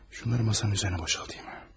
Şunları masanın üzərinə boşaldım.